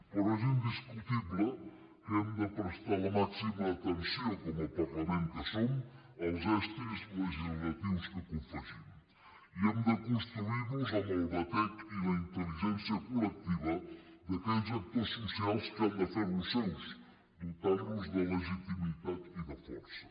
però és indiscutible que hem de prestar la màxima atenció com a parlament que som als estris legislatius que confegim i hem de construir los amb el batec i la intel·ligència col·lectiva d’aquells actors socials que han de fer los seus dotant los de legitimitat i de força